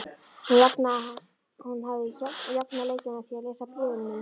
Hún hafði jafnað leikinn með því að lesa bréfin mín.